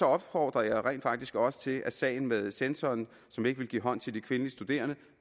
opfordrede jeg rent faktisk også til at sagen med censoren som ikke ville give hånd til de kvindelige studerende